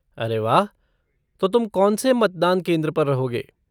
अरे वाह! तो तुम कौन से मतदान केंद्र पर रहोगे?